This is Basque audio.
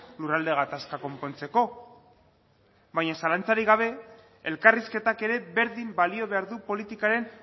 lurralde gatazka konpontzeko baina zalantzarik gabe elkarrizketak ere berdin balio behar du politikaren